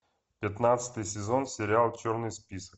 пятнадцатый сезон сериал черный список